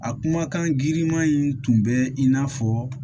A kumakan giriman in tun bɛ i n'a fɔ